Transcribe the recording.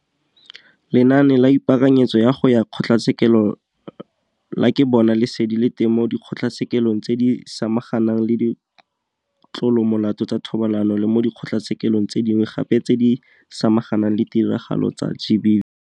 Lenaane la Ipaakanyetso ya go ya Kgotlatshekelo la Ke Bona Lesedi le teng mo Dikgotlatshekelong tse di Samaganang le Ditlolomolao tsa Thobalano le mo dikgotlatshekelong tse dingwe gape tse di samaganang le ditiragalo tsa GBV.